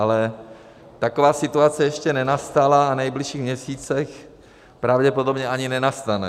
Ale taková situace ještě nenastala a v nejbližších měsících pravděpodobně ani nenastane.